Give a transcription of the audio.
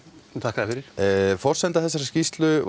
forsenda þessarar skýrslu